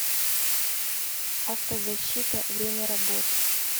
автозащита время работы